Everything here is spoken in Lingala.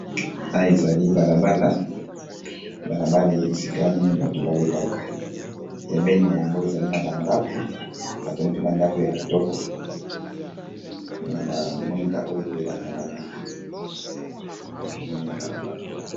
aya ezali balabala balabala esika nini bato balekaka pemene yango ezali na bandako bato mpe bandako ya kitoko na bamwinda oyo epelaka na butu zalina pemene ya balabala